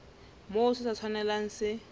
moo se sa tshwanelang se